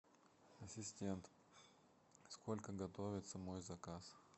ассистент сколько готовится мой заказ